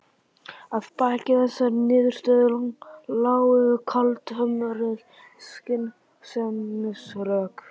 Að baki þessari niðurstöðu lágu kaldhömruð skynsemisrök.